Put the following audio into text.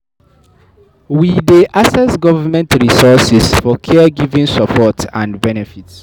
We dey access government resources for care giving support and benefit.